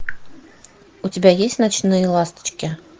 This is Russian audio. у тебя есть ночные ласточки